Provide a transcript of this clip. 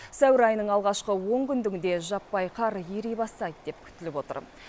сәуір айының алғашқы он күндігінде жаппай қар ери бастайды деп күтіліп отыр